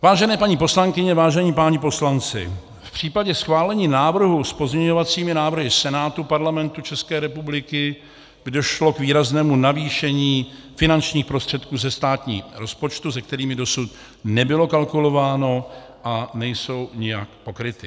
Vážené paní poslankyně, vážení páni poslanci, v případě schválení návrhu s pozměňovacími návrhy Senátu Parlamentu České republiky by došlo k výraznému navýšení finančních prostředků ze státního rozpočtu, se kterými dosud nebylo kalkulováno a nejsou nijak pokryty.